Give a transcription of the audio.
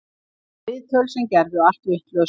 Viðtöl sem gerðu allt vitlaust